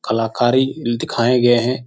कलाकारी अह दिखाये गये हैं।